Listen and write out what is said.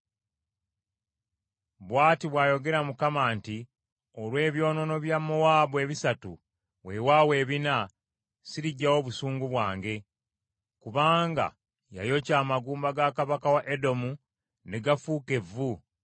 Bw’ati bw’ayogera Mukama nti, “Olw’ebyonoono bya Mowaabu ebisatu weewaawo ebina, siriggyawo busungu bwange. Kubanga yayokya amagumba ga kabaka wa Edomu ne gafuuka evvu.